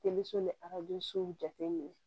Telisɔn ni aradensow jateminɛ